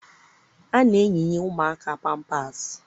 A na-eyinye ụmụaka pampaasị